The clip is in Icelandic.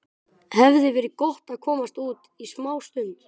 Það hefði verið gott að komast út í smástund.